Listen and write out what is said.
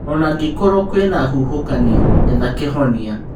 Ona-ngĩkorwo kwĩna huhũkanio, etha kĩhonia.